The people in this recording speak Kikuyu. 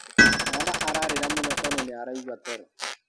Mwana ararĩra mũno tondũ nĩaraigua toro.